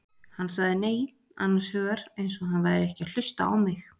Hann sagði nei, annars hugar eins og hann væri ekki að hlusta á mig.